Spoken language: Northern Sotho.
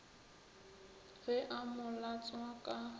ge a mo latswa ka